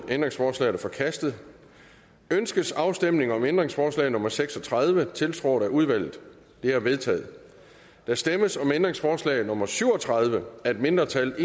ændringsforslaget er forkastet ønskes afstemning om ændringsforslag nummer seks og tredive tiltrådt af udvalget det er vedtaget der stemmes om ændringsforslag nummer syv og tredive af et mindretal